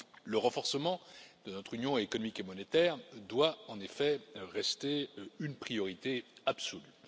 Le renforcement de notre union économique et monétaire doit, en effet, rester une priorité absolue.